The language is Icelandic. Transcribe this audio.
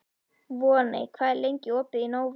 Voney, hvað er lengi opið í Nova?